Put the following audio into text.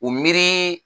U miiri